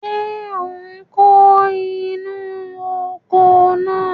Ṣé ò ń kó inú oko náà?